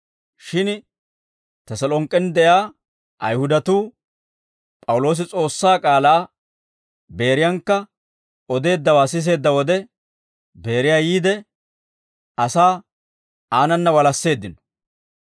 Shin Teselonk'k'en de'iyaa Ayihudatuu P'awuloosi S'oossaa k'aalaa Beeriyankka odeeddawaa siseedda wode, Beeriyaa yiide, asaa aanana walasseeddino.